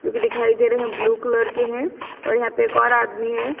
जो दिखाई दे रहे हैं ब्लू कलर के हैं और यहां पे एक और आदमी है।